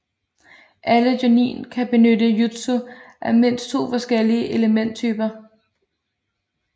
Alle Jonin kan benytte jutsu af mindst to forskellige elementtyper